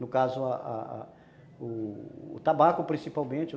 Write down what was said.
No caso, a a o tabaco principalmente.